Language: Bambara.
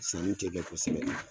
Sani tɛ kɛ kosɛbɛn.